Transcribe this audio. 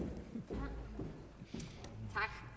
ja